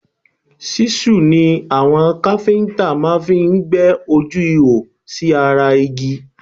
Ṣíṣù ni àwọn kápẹ́ntà máa fí ń gbẹ́ ojú ihò sí ara igi